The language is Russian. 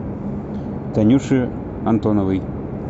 танюше антоновой